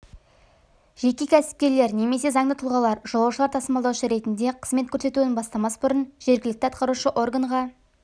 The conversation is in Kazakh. жеке кәсіпкерлер немесе заңды тұлғалар жолаушылар тасымалдаушы ретінде қызмет көрсетуін бастамас бұрын жергілікті атқарушы органға